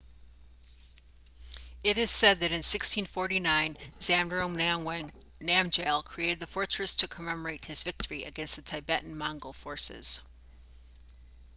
it is said that in 1649 zhabdrung ngawang namgyel created the fortress to commemorate his victory against the tibetan-mongol forces